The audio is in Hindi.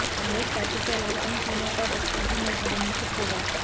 कांग्रेस पार्टी के अलावा इन तीनों का दफ्तर भी नए भवन में शिफ्ट होगा